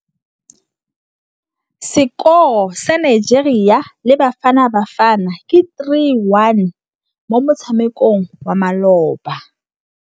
Sekôrô sa Nigeria le Bafanabafana ke 3-1 mo motshamekong wa malôba.